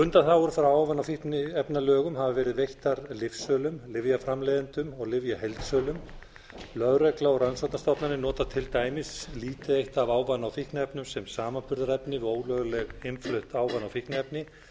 undanþágur frá ávana og fíkniefnalögum hafa verið veittar lyfsölum lyfjaframleiðendum og lyfjaheildsölum lögregla og rannsóknastofnanir til dæmis nota lítið eitt af ávana og fíkniefnum sem samanburðarefni við ólöglega innflutt ávana og fíkniefni